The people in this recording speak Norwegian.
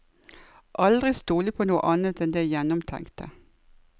Aldri stole på noe annet enn det gjennomtenkte.